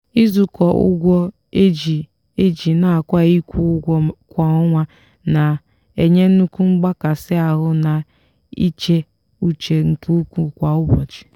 izukọ ụgwọ eji eji nakwa ịkwụ ụgwọ kwa ọnwa na-enye nnukwu mgbakasi ahụ na íchè uche nke ukwuu kwa ụbọchị.